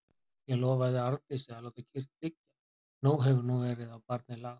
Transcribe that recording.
Ég lofaði Arndísi að láta kyrrt liggja, nóg hefur nú verið á barnið lagt.